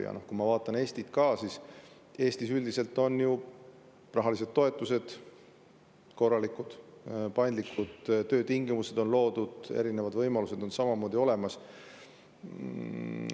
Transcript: Ja kui ma vaatan Eesti, siis Eestis on üldiselt ju rahalised toetused korralikud, paindlikud töötingimused on loodud, erinevad võimalused on olemas.